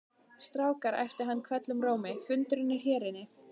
Strákar æpti hann hvellum rómi, fundurinn er hér inni